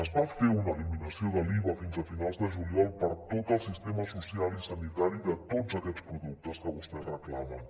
es va fer una eliminació de l’iva fins a finals de juliol per a tot el sistema social i sanitari de tots aquests productes que vostès reclamen